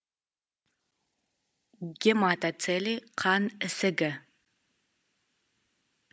гематоцеле қан ісігі